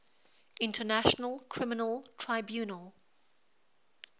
international criminal tribunal